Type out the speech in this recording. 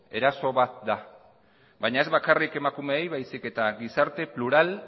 eraso bat da baina ez bakarrik emakumeei baizik eta gizarte plural